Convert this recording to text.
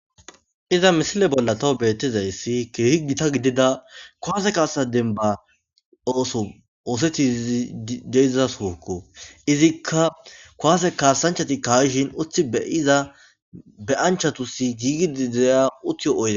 Iza misile bolla beyizayssii keehi giitta gidida kuwase kasa dembba ooso ooththidii de'iza soohokko ozikka kuwase kassanchchatii ka'ishin uutti be'iza be'anchchatus gidigida uuttiyo oydde .